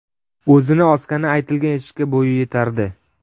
O‘zini osgani aytilgan eshikka bo‘yi yetardi.